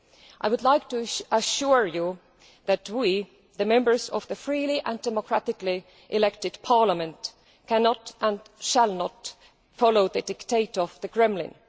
I would like to assure you that we, the Members of this freely and democratically elected Parliament, cannot and shall not follow the dictates of the Kremlin.